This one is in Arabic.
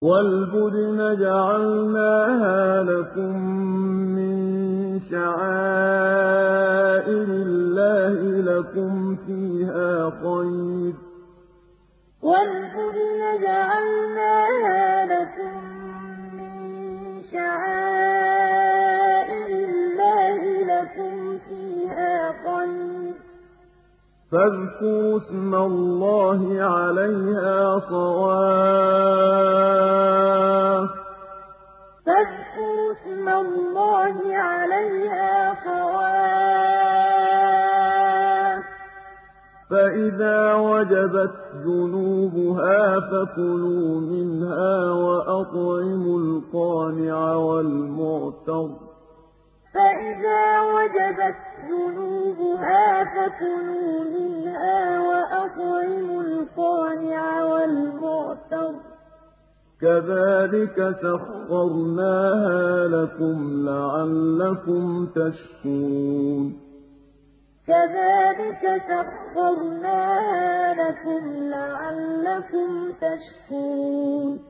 وَالْبُدْنَ جَعَلْنَاهَا لَكُم مِّن شَعَائِرِ اللَّهِ لَكُمْ فِيهَا خَيْرٌ ۖ فَاذْكُرُوا اسْمَ اللَّهِ عَلَيْهَا صَوَافَّ ۖ فَإِذَا وَجَبَتْ جُنُوبُهَا فَكُلُوا مِنْهَا وَأَطْعِمُوا الْقَانِعَ وَالْمُعْتَرَّ ۚ كَذَٰلِكَ سَخَّرْنَاهَا لَكُمْ لَعَلَّكُمْ تَشْكُرُونَ وَالْبُدْنَ جَعَلْنَاهَا لَكُم مِّن شَعَائِرِ اللَّهِ لَكُمْ فِيهَا خَيْرٌ ۖ فَاذْكُرُوا اسْمَ اللَّهِ عَلَيْهَا صَوَافَّ ۖ فَإِذَا وَجَبَتْ جُنُوبُهَا فَكُلُوا مِنْهَا وَأَطْعِمُوا الْقَانِعَ وَالْمُعْتَرَّ ۚ كَذَٰلِكَ سَخَّرْنَاهَا لَكُمْ لَعَلَّكُمْ تَشْكُرُونَ